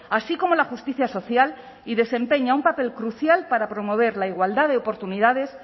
así como la justicia social y desempeña un papel crucial para promover la igualdad de oportunidades